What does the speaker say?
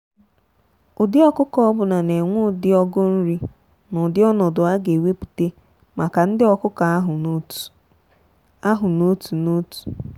ụdị ọkụkọ ọbụna na enwe ụdị ọgụ nri na ụdị ọnọdụ a ga ewepụta maka ndị ọkụkọ ahụ n'otu ahụ n'otu n'otu.